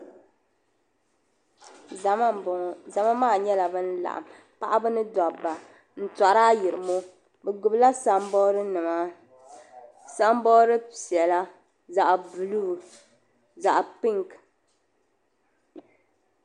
Zama m-bɔŋɔ zama maa nyɛla ban laɣim paɣiba ni dobba n-tori ayirimo bɛ gbubila samboodinima samboodi piɛla zaɣ'buluu zaɣ'pinki.